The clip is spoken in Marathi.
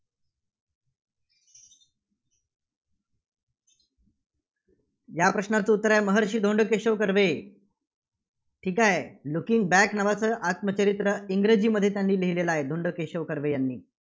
या प्रश्नाचं उत्तर आहे, महर्षी धोंडो केशव कर्वे. ठीक आहे? Looking back नावाचं आत्मचरित्र इंग्रजीमध्ये त्यांनी लिहिलेलं आहे, धोंडो केशव कर्वे यांनी